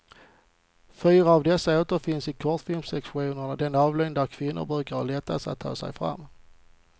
Fyra av dessa återfinns i kortfilmssektionen, den avdelning där kvinnor brukar ha lättast att ta sig fram.